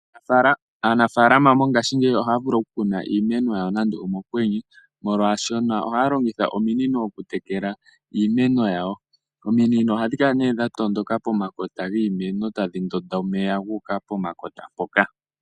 Aanafaalama mongashiingeyi ohaya vulu oku kuna iimeno yawo nando omokwenye oshoka ohya longitha ominino oku tekela iimeno yawo. Ominino ohadhi kala nee kala nee dha tondoka pomkpta giimeno tadhi ndonda omeya guuka pomakota mpoka.